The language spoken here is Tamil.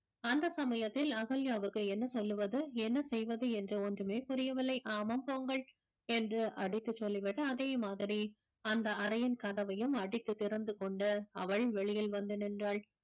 அந்த சமயத்தில் அகல்யாவுக்கு என்ன சொல்லுவது என்ன செய்வது என்று ஒன்றுமே புரியவில்லை ஆமாம் போங்கள் என்று அடித்துச் சொல்லி விட்டு அதே மாதிரி அந்த அறையின் கதவையும் அடித்து திறந்து கொண்டு அவள் வெளியில் வந்து நின்றாள்